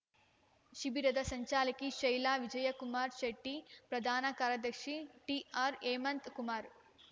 ಶಿಬಿರದ ಸಂಚಾಲಕಿ ಶೈಲಾ ವಿಜಯಕುಮಾರ ಶೆಟ್ಟಿ ಪ್ರಧಾನ ಕಾರ್ಯದರ್ಶಿ ಟಿಆರ್‌ಹೇಮಂತ್‌ ಕುಮಾರ್